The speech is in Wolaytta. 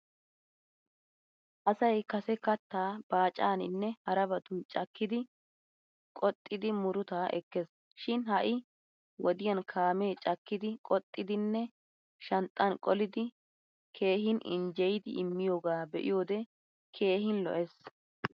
Asay Kase katta baacaaninne harabatun cakkidi qoxzidi murutaa ekkes. Shin ha'i wodiyan kaamee cakkidi qoxxidinne shanxxan qolidi keehin injjeyidi immiyoogaa be'iyode keehin lo'ees.